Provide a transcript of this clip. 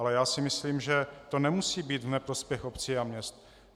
Ale já si myslím, že to nemusí být v neprospěch obcí a měst.